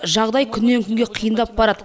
жағдай күннен күнге қиындап барады